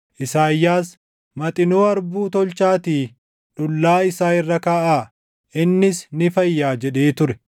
Isaayyaas, “Maxinoo harbuu tolchaatii dhullaa isaa irra kaaʼaa; innis ni fayyaa” jedhee ture.